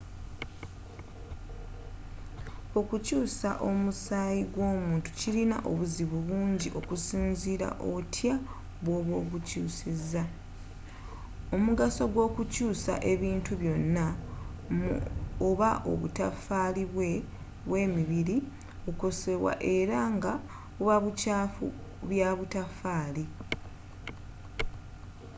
okukyusa omusayi gw’omuntu kilina obuzibu bungi okusinzira otya bw’oba ogukyusiza, omugaso gw’okukyusa ebintu byonna mu oba obutafali bwe mibiri okukosebwa era nga buba bukyafu bya butafali